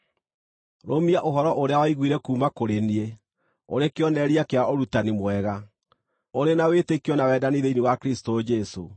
Rũmia ũhoro ũrĩa waiguire kuuma kũrĩ niĩ, ũrĩ kĩonereria kĩa ũrutani mwega, ũrĩ na wĩtĩkio na wendani thĩinĩ wa Kristũ Jesũ.